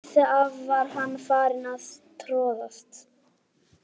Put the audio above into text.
Áður en hann vissi af var hann farinn að troðast.